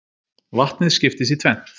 vatnið skiptist í tvennt